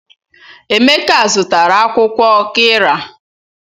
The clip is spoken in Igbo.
Emeka zụtara akwukwo qirya.